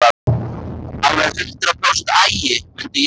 Alveg hundrað prósent agi, mundi ég segja.